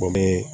Bɔ ne